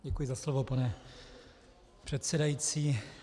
Děkuji za slovo, pane předsedající.